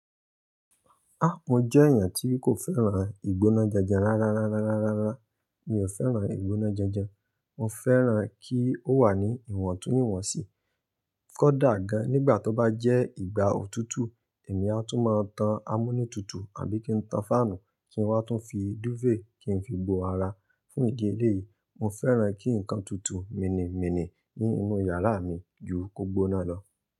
Á, mo jẹ́ èèyàn tí kò fẹ́ràn ìgbóná janjan rárárárárárárá. Mi ò fẹ́ràn ìgbóná janjan. Mo fẹ́ràn kí ó wà ní ìwọ̀ntúnwọ̀nsì. Kódà gan, nígbà tó bá jẹ́ ìgbà òtútù, èmi a tún máa tan amúnítútù àbí kí n tan fáànù, kí n wá tún fi dúfèè kí n fi bo ara. Fún ìdí elé yìí, mo fẹ́ràn kí nǹkan tutù, mìnì mìnì ní inú yàrá mi ju ko gbóná lọ.